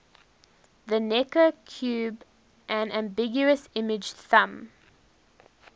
the necker cube an ambiguous image thumb